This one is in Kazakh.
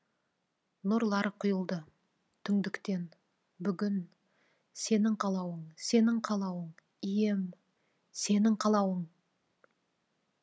нұрлар құйылды түңдіктен бүгін сенің қалауың сенің қалауың ием сенің қалауың